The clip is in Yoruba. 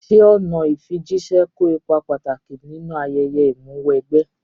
Ṣé ọ̀nà ìfijíṣẹ́ kó ipa pàtàkì nínú ayẹyẹ Ìmúw'ẹgbẹ́?